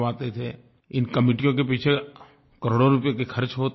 इन कमेटियों के पीछे करोड़ों रुपए के खर्च होते थे